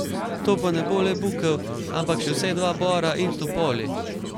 To pa ne bo le bukev, ampak še vsaj dva bora in topoli.